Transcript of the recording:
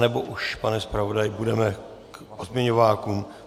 Nebo už, pane zpravodaji, půjdeme k pozměňovákům?